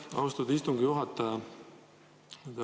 Aitäh, austatud istungi juhataja!